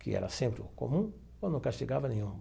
que era sempre comum, ou não castigava nenhum.